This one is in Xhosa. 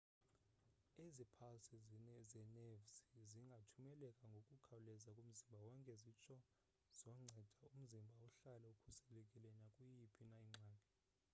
ezi phalsi zenevzi zingathumeleka ngokukhawuleza kumzimba wonke zitsho zoncede umzimba uhlale ukhuselekile nakuyiphi na ingxaki